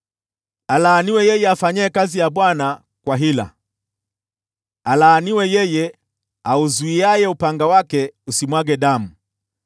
“Alaaniwe yeye afanyaye kazi ya Bwana kwa hila! Alaaniwe yeye auzuiaye upanga wake usimwage damu!